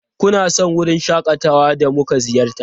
Kuna son wurin shakatawa da muka ziyarta?